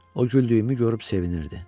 O güldüyümü görüb sevinirdi.